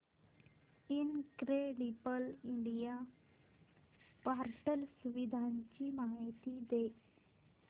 incredible India portal सुविधांची माहिती दे